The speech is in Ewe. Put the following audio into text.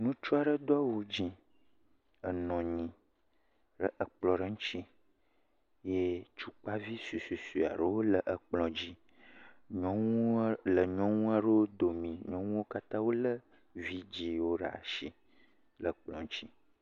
Ŋutsu aɖe do awu dzɛ̃ enɔ anyi ɖe kplɔ aɖe ŋuti eye tukpavi suesuesue aɖewo le kplɔa dzi. Nyɔaa.., le nyɔnu aɖewo domii nyɔnuawo katã wolé vidziwo ɖe asi le kplɔ dzi.